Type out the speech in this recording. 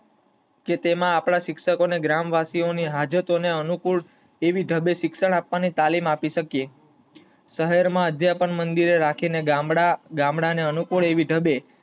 કે તેમાં આપડા શિક્ષકો ને ગામવાસીઓ હાજતો ને અનુકૂળ આવી ઢબે શિક્ષણ પણ એ તાલીમ આપી શકીયે. શહેર માં અધ્યાપન મંદિર રાખી ને ગામડા ને અનુકૂળ આવી ઢબે